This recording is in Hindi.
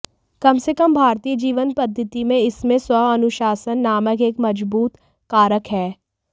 कम से कम भारतीय जीवन पद्धति में इसमें स्व अनुशासन नामक एक मजबूत कारक है